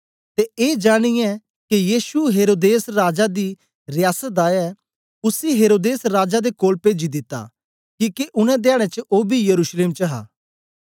ते ए जानिऐ के यीशु हेरोदेस राजा दी रियासत दा ऐ उसी हेरोदेस राजा दे कोल पेजी दिता किके उनै धयाडें च ओ बी यरूशलेम च हा